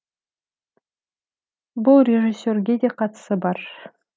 бұл режиссерге де қатысы бар